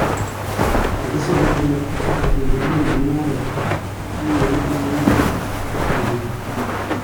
magi some nyoetapkaat ingolul mungareet nenyone en oreet ap ateptonyon